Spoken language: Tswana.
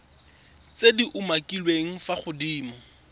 tse di umakiliweng fa godimo